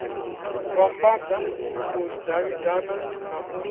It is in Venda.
vhambadza u davhidzana na u